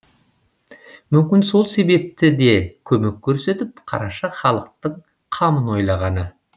мүмкін сол себепті де көмек көрсетіп қараша халықтың қамын ойлағаны